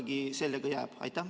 Kuidas sellega ikkagi jääb?